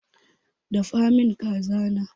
Dafa min kaza na!